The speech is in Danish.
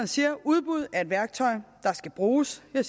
siger at udbud er et værktøj der skal bruges det